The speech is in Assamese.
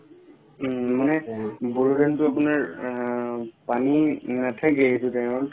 উম মানে বড়ো ধানতো আপোনাৰ আ পানি নাথাকে সেইতো time ত